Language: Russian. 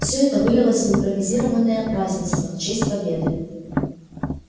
всё это вылилось в импровизированное празднество в честь победы